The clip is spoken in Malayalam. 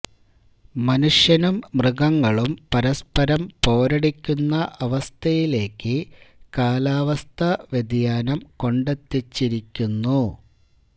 മനുഷ്യനും മൃഗങ്ങളും പരസ്പരം പോരടിക്കുന്ന അവസ്ഥയിലേക്ക് കാലാവസ്ഥാ വ്യതിയാനം കൊണ്ടെത്തിച്ചിരിക്കുന്നു